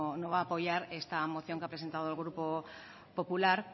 no va a apoyar esta moción que ha presentado el grupo popular